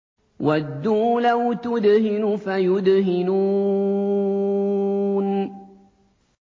وَدُّوا لَوْ تُدْهِنُ فَيُدْهِنُونَ